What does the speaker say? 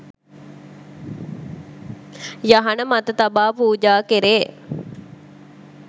යහන මත තබා පූජා කෙරේ